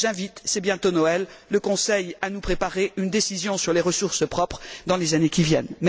J'invite c'est bientôt Noël le Conseil à nous préparer une décision sur les ressources propres dans les années qui viennent.